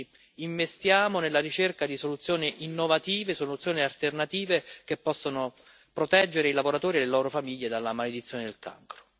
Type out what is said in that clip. Quindi investiamo nella ricerca di soluzioni innovative, di soluzione alternative che possano proteggere i lavoratori e le loro famiglie dalla maledizione del cancro.